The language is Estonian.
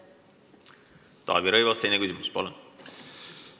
Taavi Rõivas, teine küsimus, palun!